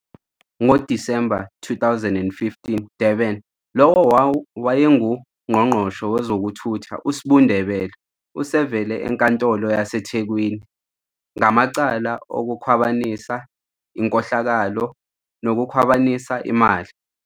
Dec 2015 - Durban - Lowo owayenguNgqongqoshe wezokuThutha uS'bu Ndebele usevele enkantolo yaseThekwini ngamacala okukhwabanisa, inkohlakalo nokukhwabanisa imali.